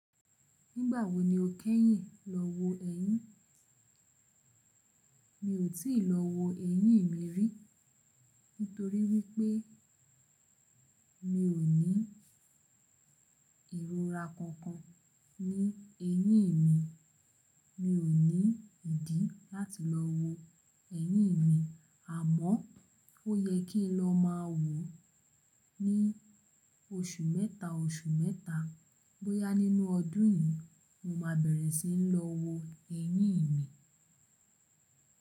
Nígbà wo ni o kẹ́yìn lọ wo ẹyin? Mi ò tí ì lọ wo eyín mi rí, nítorí wípé mi ò ní ìrora kankan ní eyín mi. Mi ò ní ìdí láti lọ wo ẹyin mi, àmọ́ ó yẹ kí n lọ máa wò ó ní oṣù mẹ́ta oṣù mẹ́ta. Bóyá nínú ọdún yìí mo má bẹ̀rẹ̀ sí ń lọ wo ẹyin mi.